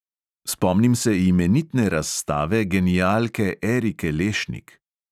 Spomnim se imenitne razstave genialke erike lešnik.